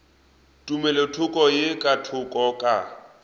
tumelothoko ye ka thoko ka